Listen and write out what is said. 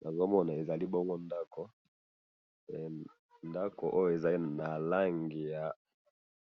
Namoni ndako ya etage, eza na langi ya